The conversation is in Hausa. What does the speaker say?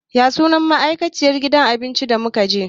Ya sunan ma'aikacin gidan abincin da muka je?